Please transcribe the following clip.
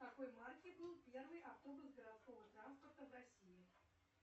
какой марки был первый автобус городского траспорта в россии